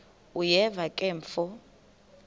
uyeva ke mfo